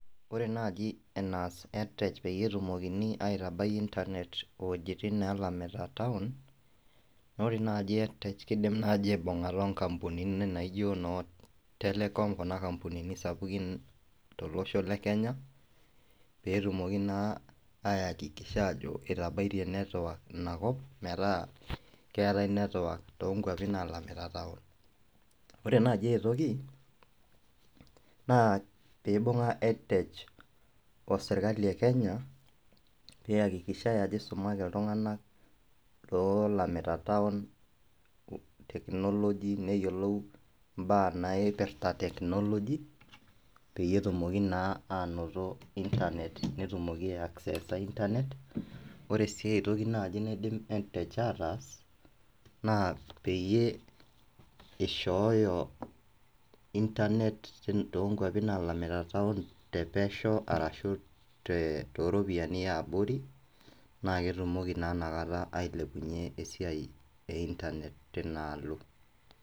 Ore naaji enaas edtech peyie etumokini aitabaiki internet iwojitin neelamita taon, naa naaji edtech kiidim naaji aibungata inkampunini naijo noo telecom kuna kampunini sapukin tolosho le Kenya peyie etumoki naa akikisha aajo itabaitie network inakop metaa keetai network toonkuapi naalamita taon. Ore naaji aitoki, naapiibunga edtech osirkali e Kenya pee eakikishai aajo eisumaki iltunganak loolamita taon, technology neyiolou imbaa naipirta technology peyie etumoki naa anoto internet netumoki aa acceser internet. Ore sii aitoki naaji naidim edtech ataas naa peyie eishooyo internet toonkuapi naalamita taon tepesho arashu tooropiyiani yaabori naa ketumoki naa nakata ailepunyie esiai ee Internet tinaalo.